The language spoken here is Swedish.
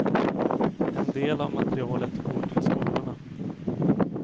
En del av materialet går till skolorna.